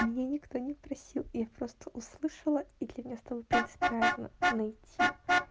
меня никто не просил я просто услышала и для меня стало принципиально найти